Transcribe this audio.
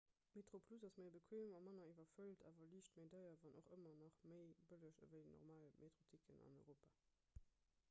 metroplus ass méi bequeem a manner iwwerfëllt awer liicht méi deier wann och ëmmer nach méi bëlleg ewéi normal metroticketen an europa